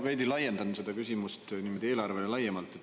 Ma veidi laiendan oma küsimust, küsin eelarve kohta laiemalt.